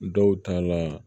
Dɔw ta la